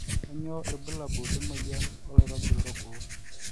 kanyio irbulabul le moyian oloirobi lorgoo